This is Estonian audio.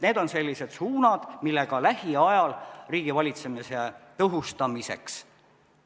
Need on sellised suunad lähiajal riigivalitsemise tõhustamiseks.